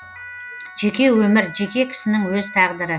жеке өмір жеке кісінің өз тағдыры